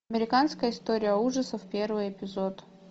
американская история ужасов первый эпизод